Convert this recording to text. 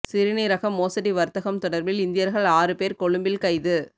சிறுநீரக மோசடி வர்த்தகம் தொடர்பில் இந்தியர்கள் ஆறு பேர் கொழும்பில் கைது